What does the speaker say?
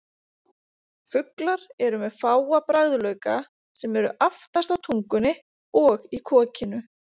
Fuglar eru með fáa bragðlauka sem eru aftast á tungunni og í kokinu.